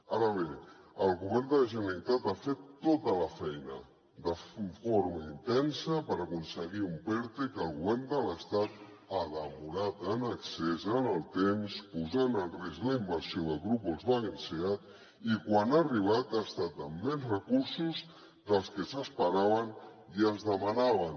ara bé el govern de la generalitat ha fet tota la feina de forma intensa per aconseguir un perte que el govern de l’estat ha demorat en excés en el temps posant en risc la inversió del grup volkswagen seat i quan ha arribat ha estat amb menys recursos dels que s’esperaven i es demanaven